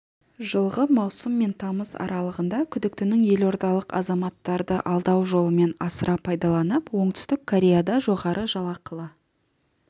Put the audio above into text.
жылғы маусым мен тамыз аралығында күдіктінің елордалық азаматтарды алдау жолымен асыра пайдаланып оңтүстік кореяда жоғары жалақылы